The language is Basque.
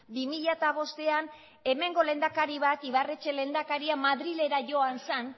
bi mila bostean hemengo lehendakari bat ibarretxe lehendakaria madrilera joan zan